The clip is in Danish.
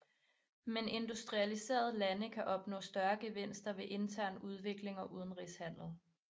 Men industrialiserede lande kan opnå større gevinster ved intern udvikling og udenrigshandel